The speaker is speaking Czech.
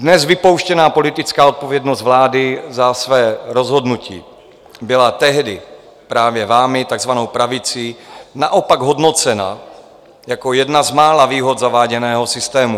Dnes vypouštěná politická odpovědnost vlády za své rozhodnutí byla tehdy právě vámi, takzvanou pravicí, naopak hodnocena jako jedna z mála výhod zaváděného systému.